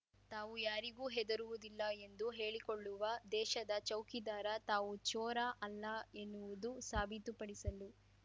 ತಾವು ಯಾರಿಗೂ ಹೆದರುವುದಿಲ್ಲ ಎಂದು ಹೇಳಿಕೊಳ್ಳುವ ದೇಶದ ಚೌಕಿದಾರ ತಾವು ಚೋರ ಅಲ್ಲ ಎನ್ನುವುದನ್ನು ಸಾಬೀತುಪಡಿಸಲು